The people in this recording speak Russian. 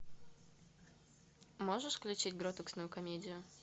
можешь включить гротескную комедию